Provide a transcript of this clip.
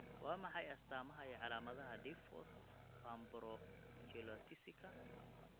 Waa maxay astamaaha iyo calaamadaha Diffous panbronchiolitiska?